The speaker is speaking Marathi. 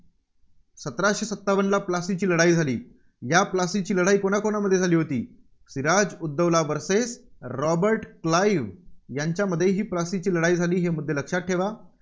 सतराशे सत्तावनला प्लासीची लढाई झाली. या प्लासीची लढाई कोणाकोणामध्ये झाली होती? Siraj ud Daulah versus Robert Clive यांच्यामध्ये ही प्लासीची लढाई झाली. हे मुद्दे लक्षात ठेवा.